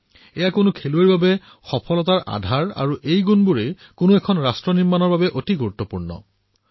এয়া কোনো খেলুৱৈৰ সফলতাৰ কাৰণ হব পাৰে আৰু এই চাৰিটা গুণেই কোনো ৰাষ্ট্ৰ নিৰ্মাণৰ বাবে গুৰুত্বপূৰ্ণ হব পাৰে